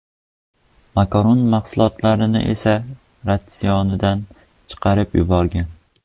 Makaron mahsulotini esa ratsionidan chiqarib yuborgan.